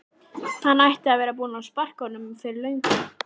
Hún ætti að vera búin að sparka honum fyrir löngu